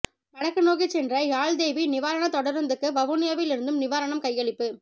வடக்கு நோக்கிச் சென்ற யாழ்தேவி நிவாரணப் தொடருந்துக்கு வவுனியாவில் இருந்தும் நிவாரணம் கையளிப்பு